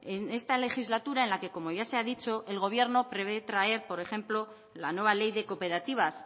en esta legislatura en la que como ya se ha dicho el gobierno prevé traer por ejemplo la nueva ley de cooperativas